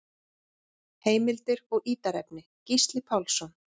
Heimildir og ítarefni: Gísli Pálsson.